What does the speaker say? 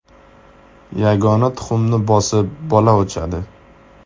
Yagona tuxumni bosib, bola ochadi.